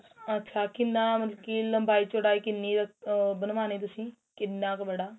ਅੱਛਾ ਕਿੰਨਾ ਮਤਲਬ ਲੰਬਾਈ ਚੋੜਾਈ ਕਿੰਨੀ ਰੱਖ ਆ ਬਣਵਾਣੀ ਤੁਸੀਂ ਕਿੰਨਾ ਕ ਬੜਾ